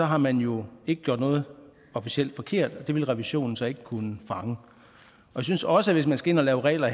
har man jo ikke gjort noget officielt forkert og det ville revisionen så ikke kunne fange jeg synes også at hvis man skal ind og lave regler